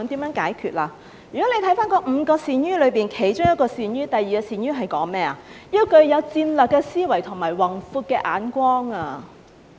如果翻看那"五個善於"，其中一個"善於"是要有戰略的思維和宏闊的眼光。